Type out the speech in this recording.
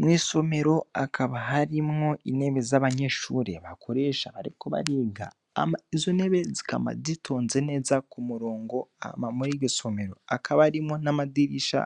Mw'isomero hakaba harimwo intebe z'abanyeshure bakoresha bariko bariga, hama izo ntebe zikama zitonze neza kumurongo, hama muri iryo somero hakaba harimwo hamwe n'amadirisha